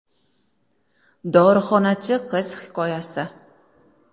Dorixonachi qiz hikoyasi.